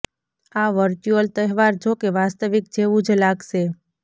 આ વર્ચુઅલ તહેવાર જો કે વાસ્તવિક જેવુ જ લાગશે